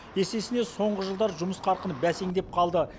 есесіне соңғы жылдары жұмыс қарқыны бәсеңдеп қалды